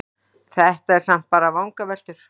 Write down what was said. Þetta eru samt bara vangaveltur.